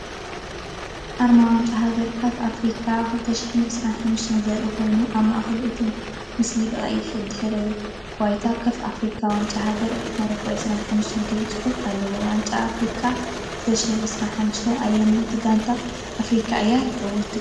ኣርማ ዋንጫ ሃገራት ካፍ ኣፍሪቃ 2025 ዘርኢ ኮይኑ፡ ኣብ ማእከል እቲ ምስሊ፡ ብቐይሕ ድሕረ ባይታ፡ “ካፍ ኣፍሪቃ ዋንጫ ሃገራት ሞሮኮ 25” ዝብል ጽሑፍ ኣሎ። ዋንጫ ኣፍሪቃ 2025 ኣየነይቲ ጋንታ ኣፍሪቃ እያ ትዕወት ትብሉ?